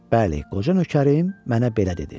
Bəli, qoca nökərim mənə belə dedi.